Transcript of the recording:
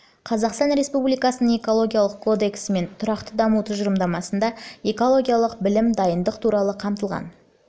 қазақстан республикасының экологиялық кодексі мен тұрақты даму тұжырымдамасында экологиялық білім дайындық туралы да қамтылған